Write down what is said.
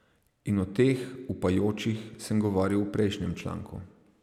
In o teh, upajočih, sem govoril v prejšnjem članku.